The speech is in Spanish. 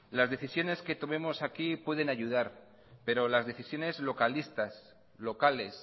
las decisiones que tomemos aquí pueden ayudar pero las decisiones localistas locales